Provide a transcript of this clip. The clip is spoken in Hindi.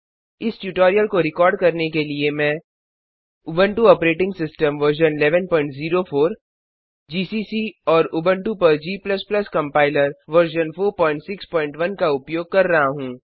इस ट्यूटोरियल को रिकॉर्ड करने के लिए मैं Ubuntu operating system version 1104 GCC और उबंटु पर g कंपाइलर वर्जन 461 का उपयोग कर रहा हूँ